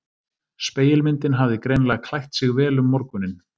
Spegilmyndin hafði greinilega klætt sig vel um morguninn.